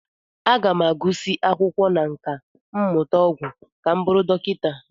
Aga m agụsị akwụkwọ na nkà mmụta ọgwụ ka m bụrụ dọkịta.